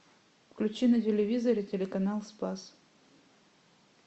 включи на телевизоре телеканал спас